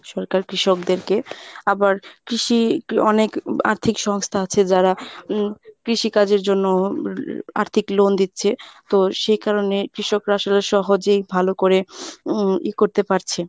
সরকার কৃষকদেরকে আবার কৃষি অনেক আর্থিক সংস্থা আছে যারা উম কৃষিকাজের জন্য আর্থিক loan দিচ্ছে তো সেই কারনে কৃষকরা আসলে সহজেই ভালো করে উম ই করতে পারছে।